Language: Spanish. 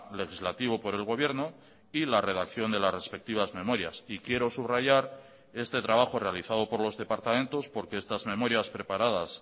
legislativo por el gobierno y la redacción de las respectivas memorias y quiero subrayar este trabajo realizado por los departamentos porque estas memorias preparadas